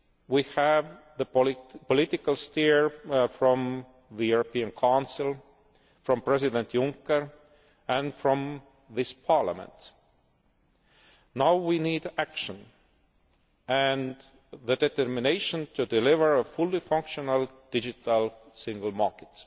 We have the political steer from the European Council, from President Juncker and from this Parliament. Now we need action, and the determination to deliver a fully functional Digital Single Market.